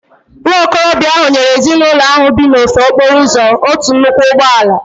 Nwa okorobịa ahụ nyere ezinụlọ ahu bi n'ofe okporo ụzọ otu nnukwu ụgbọ ala